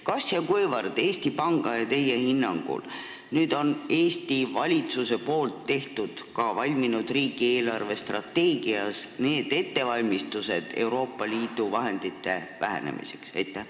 Kas ja kuivõrd on Eesti valitsus nüüd Eesti Panga ja teie hinnangul teinud riigi eelarvestrateegias ettevalmistusi Euroopa Liidu vahendite vähenemiseks?